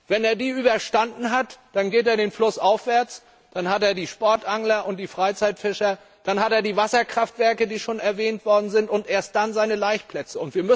Wenn er das überstanden hat, schwimmt er flussaufwärts, dann kommen die Sportangler und die Freizeitfischer, dann die Wasserkraftwerke, die schon erwähnt worden sind, und erst dann seine Laichplätze.